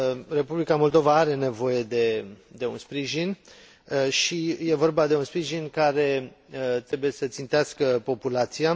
Republica Moldova are nevoie de un sprijin și este vorba de un sprijin care trebuie să țintească populația